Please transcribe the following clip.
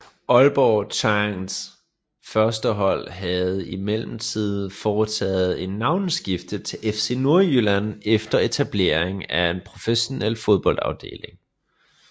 Aalborg Changs førstehold havde i mellemtiden foretaget et navneskifte til FC Nordjylland efter etableringen af en professionel fodboldafdeling